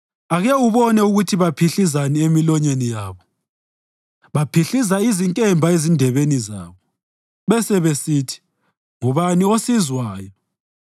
Ake ubone ukuthi baphihlizani emilonyeni yabo: baphihliza izinkemba ezindebeni zabo, bese besithi, “Ngubani osizwayo?”